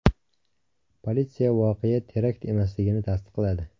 Politsiya voqea terakt emasligini tasdiqladi.